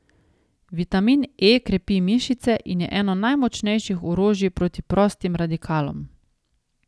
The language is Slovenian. Vitamin E krepi mišice in je eno najmočnejših orožij proti prostim radikalom.